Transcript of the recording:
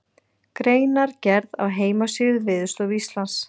Greinargerð á heimasíðu Veðurstofu Íslands.